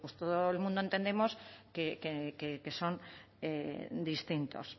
todo el mundo entendemos que son distintos